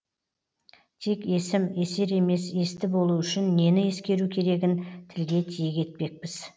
тек есім есер емес есті болу үшін нені ескеру керегін тілге тиек етпекпіз